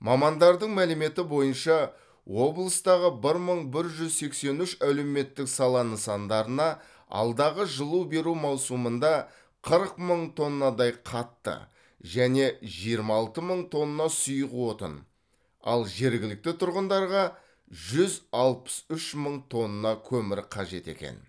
мамандардың мәліметі бойынша облыстағы бір мың бір жүз сексен үш әлеуметтік сала нысандарына алдағы жылу беру маусымында қырық мың тоннадай қатты және жиырма алты мың тонна сұйық отын ал жергілікті тұрғындарға жүз алпыс үш мың тонна көмір қажет екен